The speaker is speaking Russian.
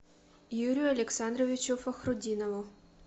юрию александровичу фахрутдинову